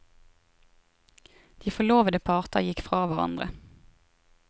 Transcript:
De forlovede parter gikk fra hverandre.